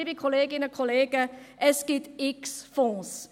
Liebe Kolleginnen und Kollegen, es gibt x Fonds;